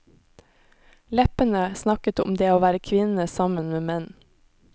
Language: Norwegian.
Leppene snakket om det å være kvinne sammen med menn.